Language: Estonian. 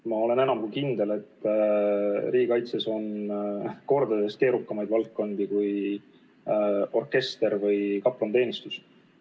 Ma olen enam kui kindel, et riigikaitses on kordades keerukamaid valdkondi kui orkester või kaplaniteenistus.